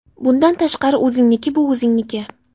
Bundan tashqari o‘zingniki bu o‘zingniki.